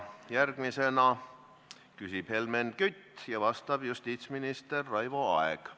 Järgmisena küsib Helmen Kütt ja vastab justiitsminister Raivo Aeg.